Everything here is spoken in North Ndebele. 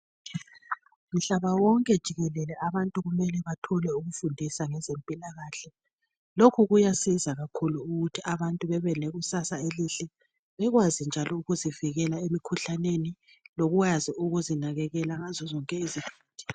Mhlaba wonke jikelele abantu kumele bathole ukufundisa ngezempilakahle. Lokhu kuyasiza kakhulu ukuthi abantu bebe lekusasa elihle, bekwazi njalo ukuzivikela emikhuhlaneni, lokwazi ukuzinakekela ngazo zonke izikhathi.